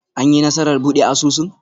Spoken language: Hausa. An yi nasarar buɗe asusun?